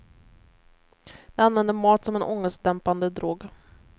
De använder mat som en ångestdämpande drog.